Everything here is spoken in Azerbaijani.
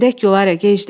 Gedək, Gülarə, gecdir.